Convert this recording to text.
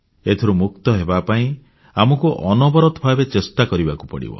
ଏଥିରୁ ମୁକ୍ତ ହେବାପାଇଁ ଆମକୁ ଅନବରତ ଭାବେ ଚେଷ୍ଟା କରିବାକୁ ପଡ଼ିବ